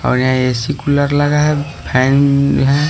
और यहां AC cooler लगा है फैन है।